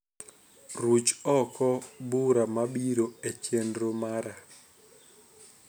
Ruch oko bura mabiro e chenro mara